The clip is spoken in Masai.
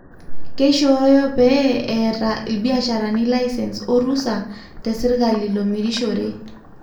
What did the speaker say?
keishoro pee etaa ilbiasharani licence wo ruusa te serikali lomirishore